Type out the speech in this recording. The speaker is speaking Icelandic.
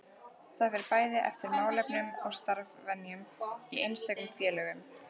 Það fer bæði eftir málefnum og starfsvenjum í einstökum félögum.